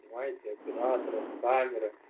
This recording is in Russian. понимаете операторы камеры